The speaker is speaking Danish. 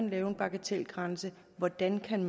lave en bagatelgrænse og hvordan man